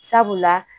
Sabula